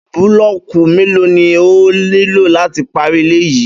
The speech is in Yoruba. Búlọ́ọ̀kù mélòó ni ẹ óò nílò láti parí ilé yìí?